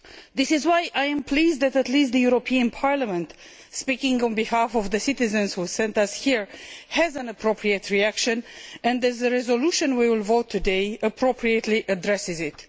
This is why I am pleased that at least the European Parliament, speaking on behalf of the citizens who sent us here, has an appropriate reaction and the resolution we will vote on today appropriately addresses it.